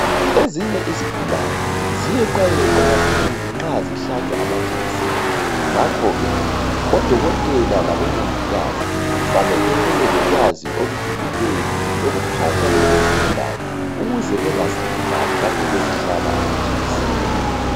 Ezinye izigulani ziyeqayeqa kakhulu nxa zihlatshwa amajekiseni ngakhoke odokotela labomongikazi kufanele bebelolwazi olujulileyo lokuphatha lezo zigulane ukuze bengazilimazi lapho bezihlaba amajekiseni.